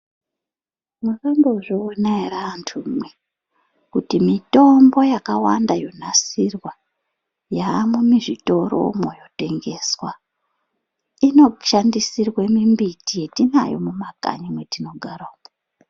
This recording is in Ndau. Makambozviona ere antumwi kuti mitombo yakawanda yonasirwa yaamwo muzvitoromwo yotengeswa inoshandisirwe mimbiti yatinayo mumakanyi mwatinogara umwo.